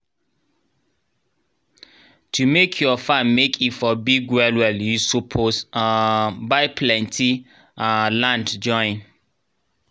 to make ur farm make e for big well well u suppos um buy plenti um land join